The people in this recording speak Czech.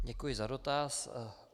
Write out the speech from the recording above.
Děkuji za dotaz.